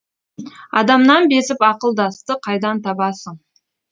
адамнан безіп ақылдасты қайдан табасың